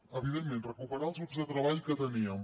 evidentment recuperar els grups de treball que teníem